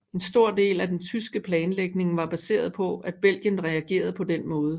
En stor del af den tyske planlægning var baseret på at Belgien reagerede på den måde